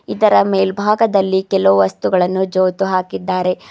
ಇದರ ಮೇಲ್ಭಾಗದಲ್ಲಿ ಕೆಲವು ವಸ್ತುಗಳನ್ನು ಜೋತು ಹಾಕಿದ್ದಾರೆ.